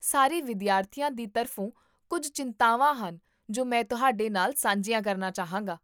ਸਾਰੇ ਵਿਦਿਆਰਥੀਆਂ ਦੀ ਤਰਫ਼ੋਂ, ਕੁੱਝ ਚਿੰਤਾਵਾਂ ਹਨ ਜੋ ਮੈਂ ਤੁਹਾਡੇ ਨਾਲ ਸਾਂਝੀਆਂ ਕਰਨਾ ਚਾਹਾਂਗਾ